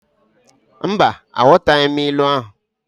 Mba, aghọtaghị m ilu ahụ.